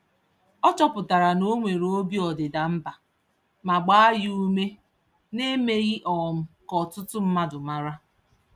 Ọ chọpụtara na onwere obi ọdịda mbà, ma gbaa ya ume naemeghi um ka ọtụtụ mmadụ màrà